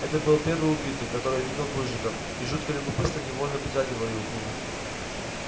это был первый убитый которого видел плужников и жуткое любопытство невольно притягивало его к нему